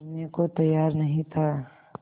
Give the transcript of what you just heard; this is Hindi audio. करने को तैयार नहीं था